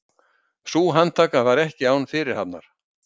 Sú handtaka var ekki án fyrirhafnar